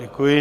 Děkuji.